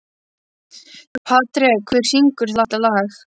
Patrek, hver syngur þetta lag?